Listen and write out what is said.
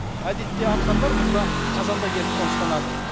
әдетте арқарлар мұнда қазанда келіп қоныстанады